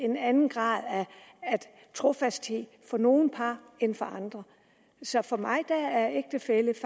en anden grad af trofasthed for nogle par end for andre så for mig er ægtefælle